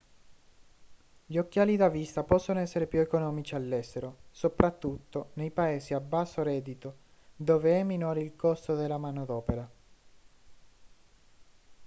gli occhiali da vista possono essere più economici all'estero soprattutto nei paesi a basso reddito dove è minore il costo della manodopera